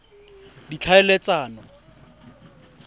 ditlhaeletsano